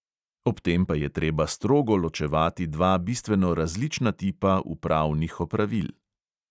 Ob tem pa je treba strogo ločevati dva bistveno različna tipa upravnih opravil.